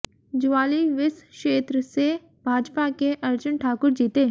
ज्वाली विस क्षेत्र से भाजपा के अर्जुन ठाकुर जीते